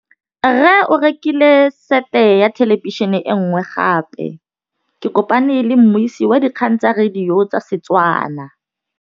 Rre o rekile sete ya thêlêbišênê e nngwe gape. Ke kopane mmuisi w dikgang tsa radio tsa Setswana.